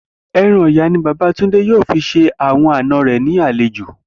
E̩ran ò̩yà ni bàbá Túndé yóò fi s̩e àwo̩n àna rè̩ ní àlejò